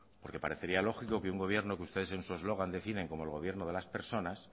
porque parecería lógico que un gobierno que ustedes en su eslogan definen como el gobierno de las personas